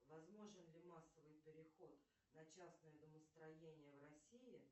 возможен ли массовый переход на частное домостроение в россии